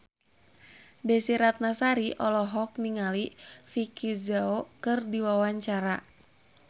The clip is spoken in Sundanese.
Desy Ratnasari olohok ningali Vicki Zao keur diwawancara